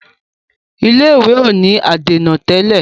ilé ìwé o ní adèna tẹlẹ.